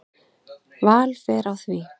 Vel fer á því.